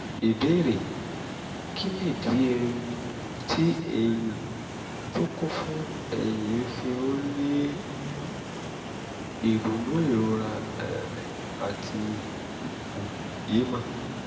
ìbéèrè: kí nìdí um tí ẹ̀yin tó kún fún ẹ̀yin fi ń ní um ìrunú ìrora um àti ìfòyemọ̀?